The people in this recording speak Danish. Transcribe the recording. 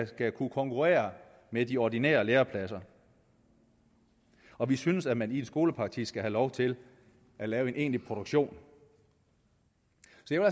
skal kunne konkurrere med de ordinære lærepladser og vi synes at man i en skolepraktik skal have lov til at lave en egentlig produktion